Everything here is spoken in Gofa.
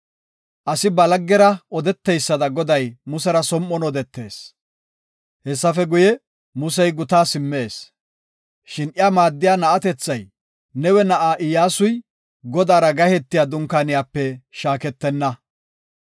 Asi ba laggera odeteysada Goday Musera som7on odetees. Hessafe guye, Musey gutaa simmees. Shin iya maaddiya na7atethay, Nawe na7aa Iyyasuy, Godaara gahetiya Dunkaaniyape shaaketenna.